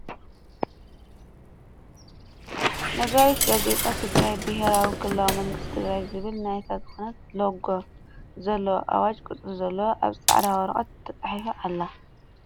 ነጋሪት ጋዜጣ ትግራይ ቢሄራዊ ክልላዊ መንግስቲ ትግራይ ዝብል ናት ዝኮነ ሎጎ ዘለዋ ኣዋጅ ቁፅሪ ዘለዎ ኣብ ፃዕዳ ወረቀት ተፃሒፉ ኣሎ ።